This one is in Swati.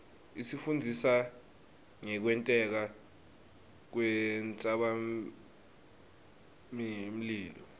isifundzisa ngekwenteka kwentsabamlilo